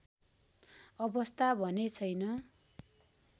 अवस्था भने छैन